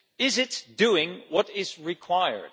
Is it doing what is required?